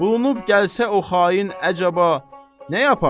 Bulunub gəlsə o xain əcəba nə yaparsan?